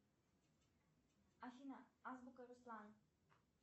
афина азбука руслан